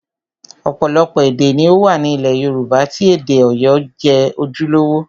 Ọ̀pọ̀lọpọ̀ èdè ni ó wà ní ilẹ̀ Yorùbá tí èdè Ọ̀yọ́ jẹ́ ojúlówó